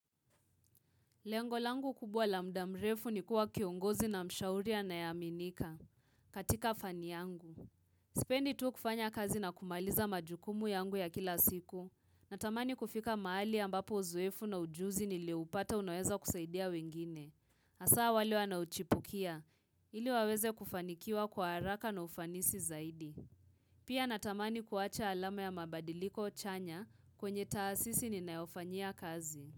Lengo langu kubwa la muda mrefu ni kuwa kiongozi na mshauri anayeaminika katika fani yangu. Sipendi tu kufanya kazi na kumaliza majukumu yangu ya kila siku. Natamani kufika mahali ambapo uzoefu na ujuzi nilioupata unaweza kusaidia wengine. Asaa wale wanauchipukia. Ili waweze kufanikiwa kwa haraka na ufanisi zaidi. Pia natamani kuwacha alama ya mabadiliko chanya kwenye taasisi ninayofanyia kazi.